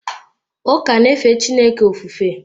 Ụka na-efe Chineke ofufe.